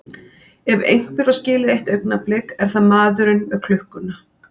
Ef einhver á skilið eitt augnablik er það maðurinn með klukkuna.